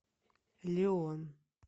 леон